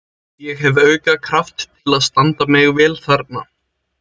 Ég hef auka kraft til að standa mig vel þarna.